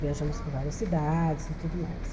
Viajamos por várias cidades e tudo mais.